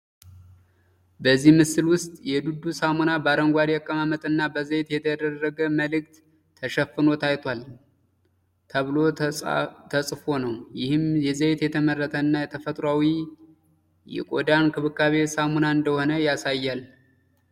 በዚህ ምስል ውስጥ የ“DURU” ሳሙና በአረንጓዴ አቀማመጥ እና በዘይት የተደረገ ምልክት ተሸፍኖ ታይቷል። ተብሎ ተጻፎ ነው፣ ይህም የዘይት የተመረተ እና ተፈጥሯዊ የቆዳ እንክብካቤ ሳሙና እንደሆነ ያሳያል።